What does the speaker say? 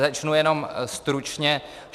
Začnu jenom stručně.